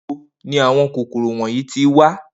Nibo ni awọn kokoro wọnyi ti wa?